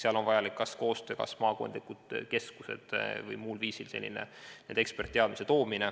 Seal on vaja teha koostööd kas maakondlike keskustega või tuua muul viisil omavalitsusse eksperditeadmist.